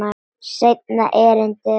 Seinna erindið var svona: